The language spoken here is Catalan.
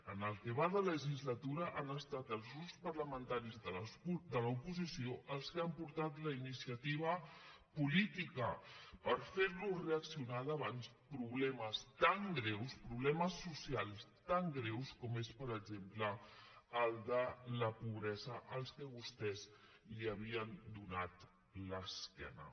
en el que va de legislatura han estat els grups parlamentaris de l’oposició els que han portat la iniciativa política per fer los reaccionar davant problemes tan greus problemes socials tan greus com és per exemple el de la pobresa als quals vostès havien donat l’esquena